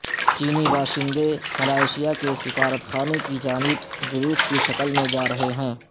چینی باشندے ملائیشیا کے سفارت خانے کی جانب جلوس کی شکل میں جا رہے ہیں